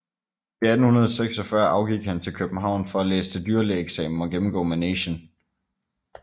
I 1846 afgik han til København for at læse til dyrlægeeksamen og gennemgå Manegen